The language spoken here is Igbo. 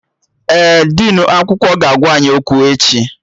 Ee, dinu akwụkwọ ga-agwa anyị okwu echi